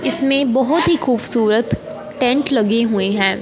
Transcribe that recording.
इसमें बहोत ही खूबसूरत टेंट लगे हुए हैं।